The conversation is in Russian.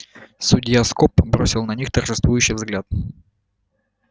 судья скоп бросил на них торжествующий взгляд